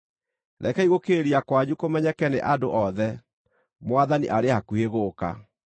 Rekei gũkirĩrĩria kwanyu kũmenyeke nĩ andũ othe. Mwathani arĩ hakuhĩ gũũka.